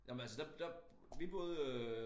Nå men altså der der vi boede øh